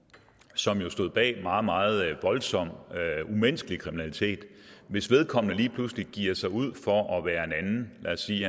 som jo stod bag meget meget voldsom umenneskelig kriminalitet hvis vedkommende lige pludselig giver sig ud for at være en anden lad os sige